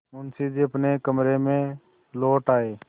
मुंशी जी अपने कमरे में लौट आये